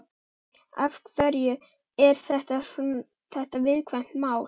Af hverju er þetta viðkvæmt mál?